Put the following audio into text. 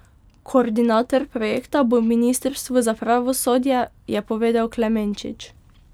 Koordinator projekta bo ministrstvo za pravosodje, je povedal Klemenčič.